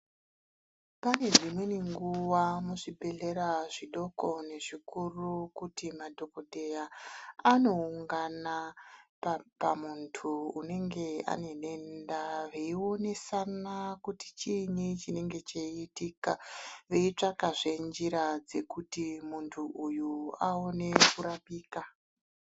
Pane dzimweni nguwa muzvibhedhlera zvidoko nezvikuru kuti madhokodheya anoungana pamuntu unenge anedenda veionesana kuti chiinyi chinenge cheiitika veitsvakazve njira kuti muntu uyu awone kurapika.